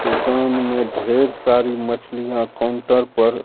दुकान में ढेर सारी मछलियां काउंटर पर--